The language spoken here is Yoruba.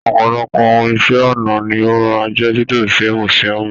ọpọlọpọ ohùn Iṣẹ́-ọnà ní o máa n jẹ tito sí musiòmu.